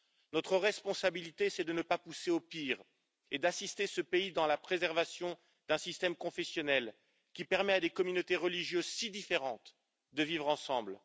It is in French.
Notre responsabilité, c'est de ne pas pousser au pire et d'assister ce pays dans la préservation d'un système confessionnel, qui permet à des communautés religieuses si différentes de vivre ensemble.